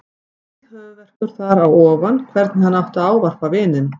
Mikill höfuðverkur þar á ofan hvernig hann átti að ávarpa vininn.